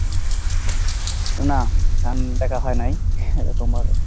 না গান দেখা হয় নাই সেরকম ভাবে।